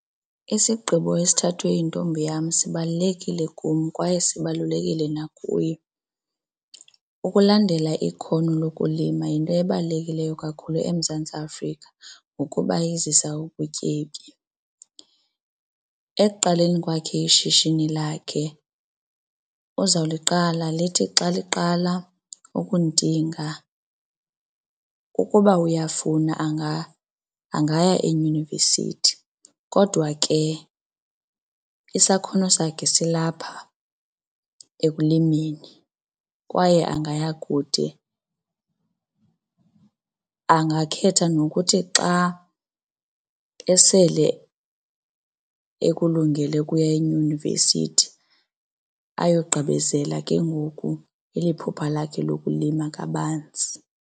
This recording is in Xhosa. Isigqibo esithathwe yintombi yam sibalulekile kum kwaye sibalulekile nakuye. Ukulandela ikhono lokulima yinto ebalulekileyo kakhulu eMzantsi Afrika ngokuba izisa ubutyebi. Ekuqaleni kwakhe ishishini lakhe uzawuliqala lithi xa liqala ukuntinga ukuba uyafuna angaya eyunivesithi. Kodwa ke isakhono sakhe silapha ekulimeni kwaye angaya kude angakhetha nokuthi xa esele ekulungele kuya eyunivesithi ayogqibezela ke ngoku eli phupha lakhe lokulima kabanzi.